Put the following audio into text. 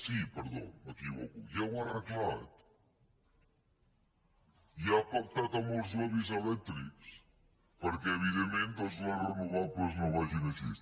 sí perdó m’equivoco ja ho ha arreglat ja ha pactat amb els lobbys elèctrics perquè evidentment doncs les renovables no vagin així